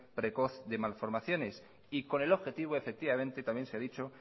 precoz de malformaciones y con el objetivo efectivamente también sea dicho